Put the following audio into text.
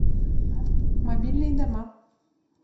мобильные дома